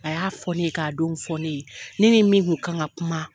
A y'a fɔ ne ye k'a don fɔ ne ye. Ne ni min kun kan ka kuma